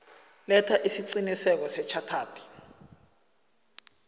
letha isiqinisekiso sechartered